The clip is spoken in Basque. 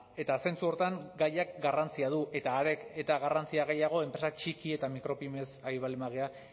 eta zentzu horretan gaiak garrantzia du eta are eta garrantzia gehiago enpresa txiki eta micropymes ari baldin bagara